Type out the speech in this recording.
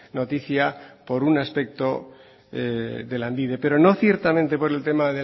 noticia por un aspecto de lanbide pero no ciertamente por el tema